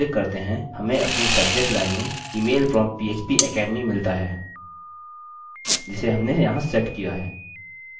यदि हम इस पर क्लिक करते हैं हमें अपनी सब्जेक्ट लाइन में email from phpacademy मिलता है जिसे हमने यहाँ सेट किया है